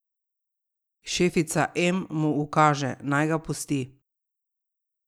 Šefica M mu ukaže, naj ga pusti.